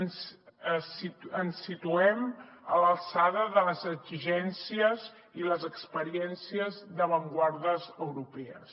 ens situem a l’alçada de les exigències i les experiències d’avantguardes europees